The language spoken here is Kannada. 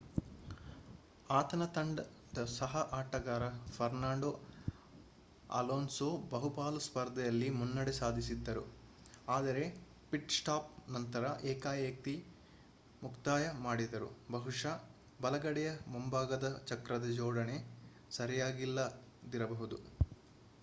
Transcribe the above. ಆತನ ತಂಡದ ಸಹ ಆಟಗಾರ ಫರ್ನಾಂಡೋ ಅಲೋನ್ಸೋ ಬಹುಪಾಲು ಸ್ಪರ್ಧೆಯಲ್ಲಿ ಮುನ್ನಡೆ ಸಾಧಿಸಿದ್ದರು ಆದರೆ ಪಿಟ್-ಸ್ಟಾಪ್ ನಂತರ ಏಕಾಎಕಿ ಮುಕ್ತಾಯ ಮಾಡಿದರು ಬಹುಶಃ ಬಲಗಡೆಯ ಮುಂಭಾಗದ ಚಕ್ರದ ಜೋಡಣೆ ಸರಿಯಾಗಿಲ್ಲದಿರಬಹುದು